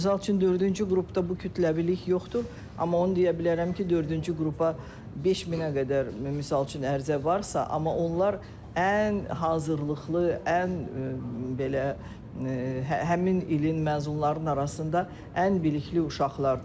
Misal üçün, dördüncü qrupda bu kütləvilik yoxdur, amma onu deyə bilərəm ki, dördüncü qrupa 5000-ə qədər misal üçün ərizə varsa, amma onlar ən hazırlıqlı, ən belə həmin ilin məzunlarının arasında ən bilikli uşaqlardır.